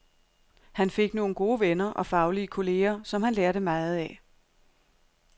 Han fik nogle gode venner og faglige kolleger, som han lærte meget af.